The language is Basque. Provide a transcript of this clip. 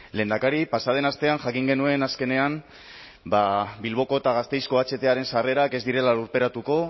lehendakari pasa den astean jakin genuen azkenean bilboko eta gasteizko ahtaren sarrerak ez direla lurperatuko